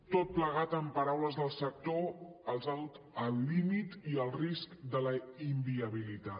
tot plegat en paraules del sector els ha dut al límit i al risc de la inviabilitat